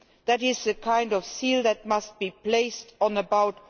This is a kind of seal that must be placed on about